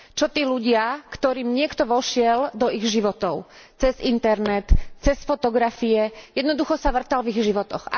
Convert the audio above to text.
Čo tí ľudia, ktorým niekto vošiel do ich životov cez internet, cez fotografie, jednoducho sa vŕtal v ich životoch?